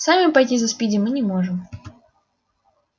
сами пойти за спиди мы не можем